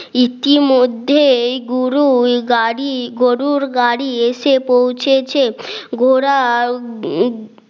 ইতিমধ্যে এই গুরুল গাড়ি গরুর গাড়ি এসে পৌঁছেছে খোঁড়াও উম